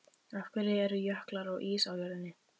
Af hverju eru jöklar og ís á jörðinni?